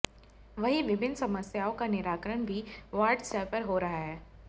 वहीं विभिन्न समस्याओं का निराकरण भी वार्ड स्तर पर हो रहा है